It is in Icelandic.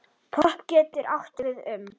Popp getur átt við um